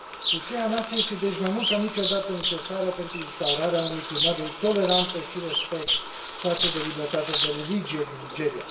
Susținerea noastră este, deci, mai mult ca niciodată, necesară pentru instaurarea unui climat de toleranță și respect față de libertatea de religie din Nigeria.